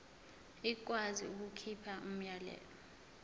ikwazi ukukhipha umyalelo